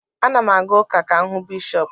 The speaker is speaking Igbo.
Ana m aga ụka ka m hụ Bishọp